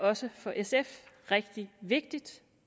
også for sf rigtig vigtigt